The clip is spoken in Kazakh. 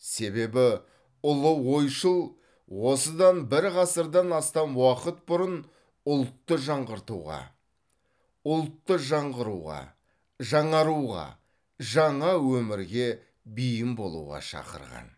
себебі ұлы ойшыл осыдан бір ғасырдан астам уақыт бұрын ұлтты жаңғыртуға ұлтты жаңғыруға жаңаруға жаңа өмірге бейім болуға шақырған